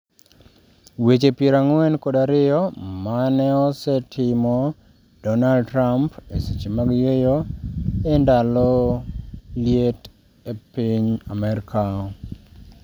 Weche piero ang'wen kod ariyo maneosetmo Dornald Trump e seche mag yueyo e ndalo liet e piny Amerka